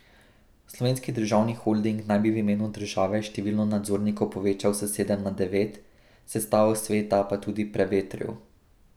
Slovenski državni holding naj bi v imenu države število nadzornikov povečal s sedem na devet, sestavo sveta pa tudi prevetril.